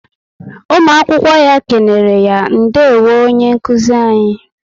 Ụmụ akwụkwọ ya kenereya - Ndewo onye nkụzi anyị